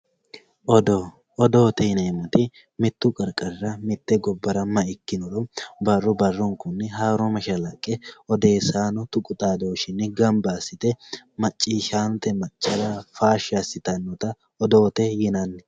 odoo odoote yineemmoti mitte gobbara mittu qarqarira may ikkinnoro barru barrubkunni haaro mashshalaqe tuqu xaadooshshinni ganba assite macciishshaanote maccara faashshi assitannota odoote yinanni